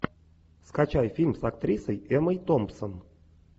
скачай фильм с актрисой эммой томпсон